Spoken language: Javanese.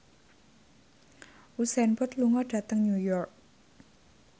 Usain Bolt lunga dhateng New York